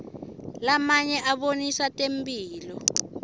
lamanye abonisa temphilo